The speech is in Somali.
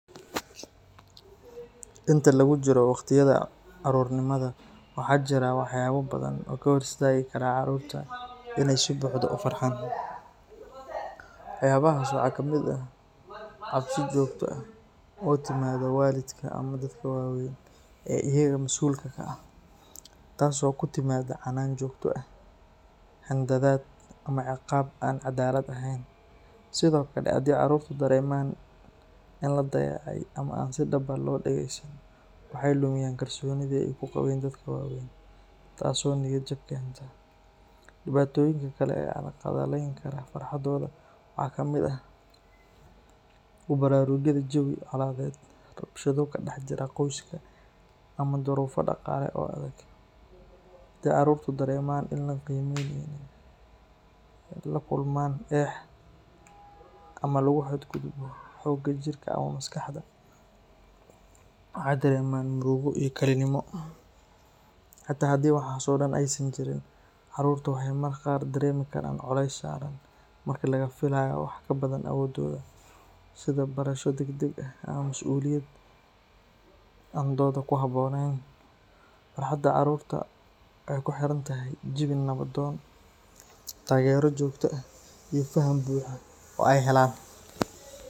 Inta lagu jiro waqtiyada carruurnimada, waxa jira waxyaabo badan oo ka hor istaagi kara carruurta inay si buuxda u farxaan. Waxyaabahaas waxaa ka mid ah cabsi joogto ah oo ka timaadda waalidka ama dadka waaweyn ee iyaga mas’uulka ka ah, taas oo ku timaadda canaan joogto ah, handadaad, ama ciqaab aan cadaalad ahayn. Sidoo kale, haddii carruurtu dareemaan in la dayacay ama aan si dhab ah loo dhageysan, waxay lumiyaan kalsoonidii ay ku qabeen dadka waaweyn, taasoo niyadjab keenta. Dhibaatooyinka kale ee carqaladeyn kara farxaddooda waxaa ka mid ah ku baraarugidda jawi colaadeed, rabshado ka dhex jira qoyska, ama daruufo dhaqaale oo adag. Haddii carruurtu dareemaan in aan la qiimeynin, ay la kulmaan eex, ama lagu xadgudbo xagga jirka ama maskaxda, waxay dareemaan murugo iyo kalinimo. Xitaa haddii waxaas oo dhan aysan jirin, carruurta waxay mararka qaar dareemi karaan culeys saaran marka laga filayo wax ka badan awooddooda, sida barasho degdeg ah ama mas’uuliyado aan da’dooda ku habboonayn. Farxadda carruurta waxay ku xiran tahay jawi nabdoon, taageero joogto ah, iyo faham buuxa oo ay helaan.